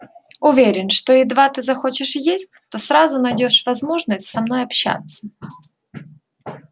уверен что едва ты захочешь есть то сразу найдёшь возможность со мной общаться